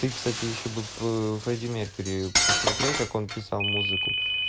ты кстати ещё бы фредди меркьюри посмотрел как он писал музыку